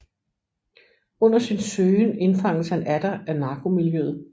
Under sin søgen indfanges han atter af narkomiljøet